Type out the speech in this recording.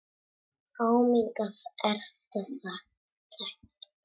Ómengað er það tært.